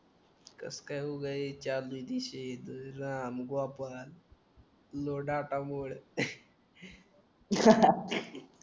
कस काय हो गया लोडा आता मोड